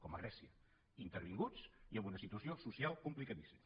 com a grècia intervinguts i amb una situació social complicadíssima